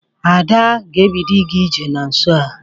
Ada ga-ebido ịga ije na nso a.